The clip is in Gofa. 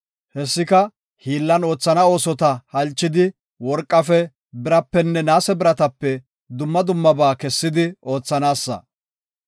Hessika, hiillan oothana oosota halchidi worqafe, birapenne naase biratape dumma dummaba kessidi oothanaasa.